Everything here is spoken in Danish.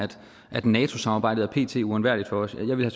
at nato samarbejdet pt er uundværligt for os ja jeg ville